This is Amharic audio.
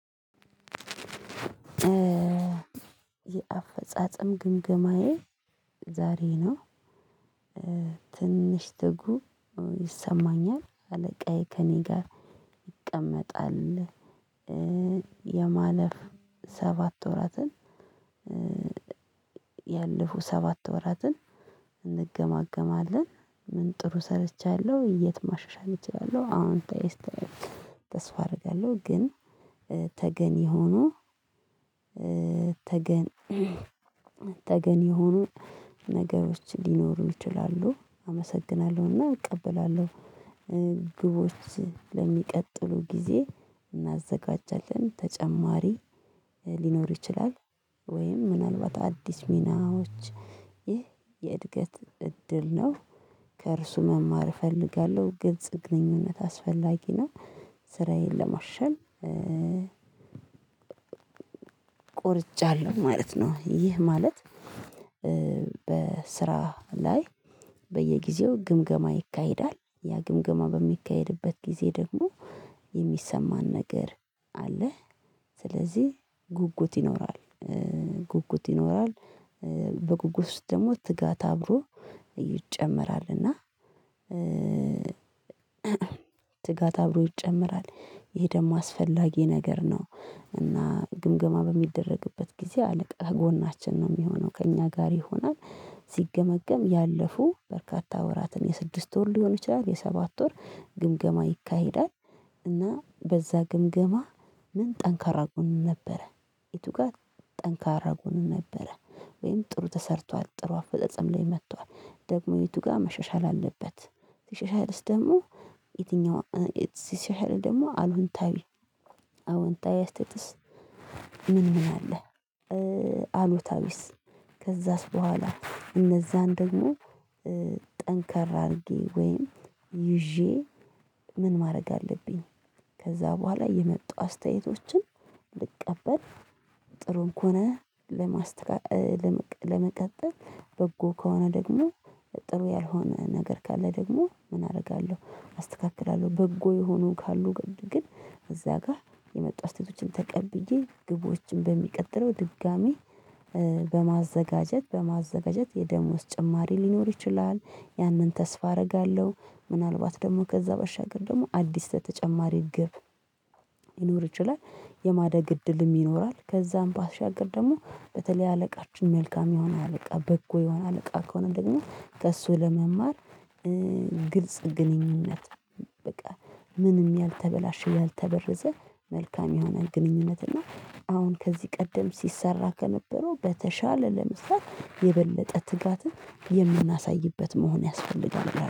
የአፈጻጸም ግምገማዬ ዛሬ ነው። ትንሽ ትጉ ይሰማኛል አለቃዬ ከእኔ ጋር ይቀመጣል። የማለፍ ሰባት ወራትን። ያለፉ ሰባት ወራትን እንገማገማለን። ምን ጥሩ ሰርቻለሁ የት ማሻሻል እችላለሁ። አሁን ተስፋ አደርጋለሁ። ግን ተገኔ ሆኖ ተገን ተገን የሆኑ ነገሮች ሊኖሩ ይችላሉ። አመሰግናለሁ እና እቀበላለሁ። ግቦች ለሚቀጥሉ ጊዜ እናዘጋጃለን። ተጨማሪ ሊኖር ይችላል። ወይም ምናልባት አዲስ ሚናዎች ይህ የእድገት እድል ነው። ከእርሱ መማር እፈልጋለሁ። ግልጽ ግንኝነት አስፈላጊ ነው። ስራዬን ለማሸል ቆርጫለሁ ማለት ነው። ይህ ማለት በስራ ላይ በየጊዜው ግምገማ ይካሄዳል። ያ ግምገማ በሚካሄድበት ጊዜ ደግሞ የሚሰማን ነገር አለ። ስለዚህ ጉጉት ይኖራል። ጉጉት ይኖራል በጉጉት ውስጥ ደግሞ ትጋት አብሮ ይጨመራል። እና ትጋት አብሮ ይጨምራል ይሄ ደግሞ አስፈላጊ ነገር ነው። እና ግምገማ በሚደረግበት ጊዜ አለቃ ጎናችን ነው የሚሆነው ከእኛ ጋር ይሆናል። ሲገመገም ያለፉ በርካታ ወራትን የስድስት ወር ሊሆን ይችላል የሰባት ወር ግምገማ ይካሄዳል። እና በዛ ግምገማ ምን ጠንካራ ጎን ነበረ? የቱ ጋ ጠንካራ ጎን ነበረ? ወይም ጥሩ ተሠርቷል ጥሩ አፈጸጸም ላይ መጥቷል ደግሞ የቱ ጋ መሻሻል አለበት? መሻሻልስ ደግሞ የትኛው እ የት ሲሻሻል ደግሞ አሉንታዊ አዎንታዊ አስተያየትስ? ምን ምን አለ? አሉታዊስ ከዛስ በኋላ እነዛን ደግሞ ጠንከር አድርጌ ወይም ይዤ ምን ማድረግ አለብኝ? ከዛ በኋላ የመጡ አስተያየቶችን ልቀበል ጥሩም ከሆነ ለማስተካከ ለመቀጠል በጎ ከሆነ ደግሞ ጥሩ ያልሆነ ነገር ካለ ደግሞ ምን አደርጋለሁ? አስተካክላለሁ። በጎ የሆኑ ካሉ ግን እዛ ጋ የመጣ አስያየቶችን ተቀብዬ ግቦችን በሚቀጥለው ድጋሚ በማዘጋጀት በማዘጋጀት የደሞዝ ጭማሪ ሊኖር ይችላል። ያንን ተስፋ አደርጋለሁ። ምናልባት ደግሞ ከዛ በሻገር ደግሞ አዲስ ተጨማሪ ግብ ሊኖር ይችላል። የማደግ እድልም ይኖራል ከዛም ባሻገር ደግሞ በተለይ አለቃችን መልካም የሆነ አለቃ በጎ የሆነ አለቃ ከሆነ ደግሞ ከእሱ ለመማር። ግልጽ ግንኙነት። በቃ ምንም ያልተበላሸ ያልተበረዘ መልካም የሆነ ግንኙነት እና አሁን ከዚህ ቀደም ሲሰራ ከነበረው በተሻለ ለመስራት የበለጠ ትጋትን የምናሳይበት መሆን ያስፈልጋል